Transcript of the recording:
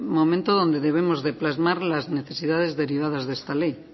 momento donde debemos de plasmar las necesidades derivadas de esta ley